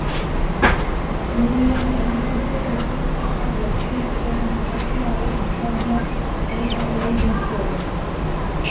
Júlíana Einarsdóttir fékk fyrsta færi leiksins þegar hún skallaði rétt framhjá ein á auðum sjó.